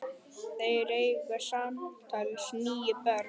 Þeir eiga samtals níu börn.